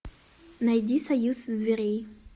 найди союз зверей